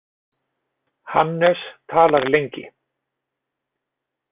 Hannes talar lengi.